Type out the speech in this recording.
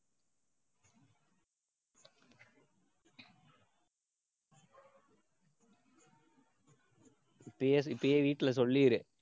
இப்பயே இப்பயே வீட்டுல சொல்லிடு.